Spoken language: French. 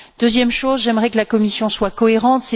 Deuxième chose j'aimerais que la Commission soit cohérente.